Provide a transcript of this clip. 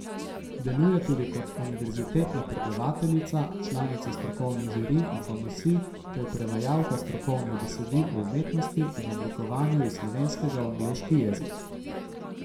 Deluje tudi kot univerzitetna predavateljica, članica strokovnih žirij in komisij ter prevajalka strokovnih besedil o umetnosti in oblikovanju iz slovenskega v angleški jezik.